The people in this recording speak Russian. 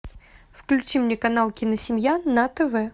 включи мне канал киносемья на тв